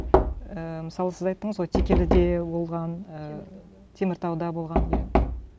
ііі мысалы сіз айттыңыз ғой текеліде болған ііі теміртауда болған иә